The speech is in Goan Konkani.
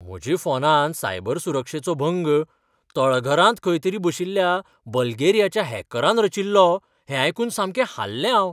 म्हज्या फोनांत सायबर सुरक्षेचो भंग तळघरांत खंय तरी बशिल्ल्या बल्गेरियाच्या हॅकरान रचिल्लो हें आयकून सामकें हाल्लें हांव.